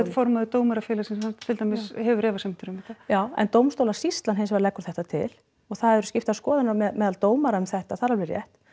formaður Dómarafélagsins hann til dæmis hefur efasemdir um þetta já en dómstólasýslan hins vegar leggur þetta til og það eru skiptar skoðanir á meðal dómara um þetta það er alveg rétt